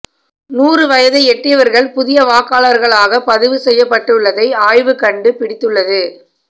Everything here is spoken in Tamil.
நூறு வயதை எட்டியவர்கள் புதிய வாக்காளர்களாக பதிவு செய்யப்பட்டுள்ளதை ஆய்வு கண்டு பிடித்துள்ளது